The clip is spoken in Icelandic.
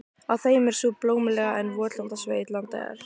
Á þeim er sú blómlega en votlenda sveit, Landeyjar.